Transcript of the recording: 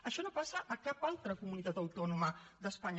això no passa a cap altra comunitat autònoma d’espanya